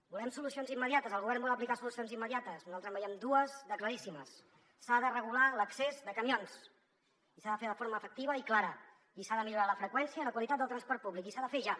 volem solucions immediates el govern vol aplicar solucions immediates nosaltres en veiem dues de claríssimes s’ha de regular l’accés de camions i s’ha de fer de forma efectiva i clara i s’ha de millorar la freqüència i la qualitat del transport públic i s’ha de fer ja